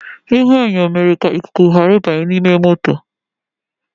Ihuenyo mere ka ikuku ghara ịbanye n’ime moto